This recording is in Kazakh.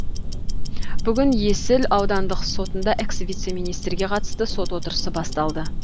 бүгін есіл аудандық сотында экс вице министрге қатысты сот отырысы басталды